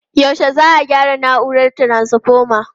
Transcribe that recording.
Yaushe za'a gyara na'urar taranfoma?